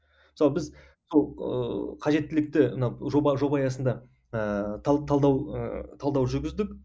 мысалы біз мынау ыыы қажеттілікті мына жоба жоба аясында ыыы талдау ыыы талдау жүргіздік